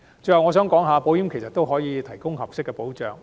最後，我想指出其實保險也能提供合適保障。